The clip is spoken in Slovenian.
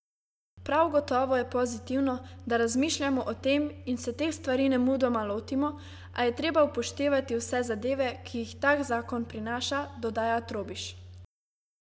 Prav gotovo je pozitivno, da razmišljamo o tem in se teh stvari nemudoma lotimo, a je treba upoštevati vse zadeve, ki jih tak zakon prinaša, dodaja Trobiš.